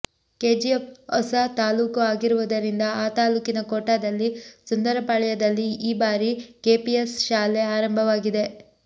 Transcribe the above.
KGF ಹೊಸ ತಾಲೂಕು ಆಗಿರುವುದರಿಂದ ಆ ತಾಲೂಕಿನ ಕೋಟಾದಲ್ಲಿ ಸುಂದರಪಾಳ್ಯದಲ್ಲಿ ಈ ಬಾರಿ ಕೆಪಿಎಸ್ ಶಾಲೆ ಆರಂಭವಾಗಿದೆ